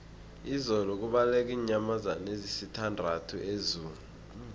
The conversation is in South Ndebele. izolo kubaleke iinyamazana ezisithandathu ezoo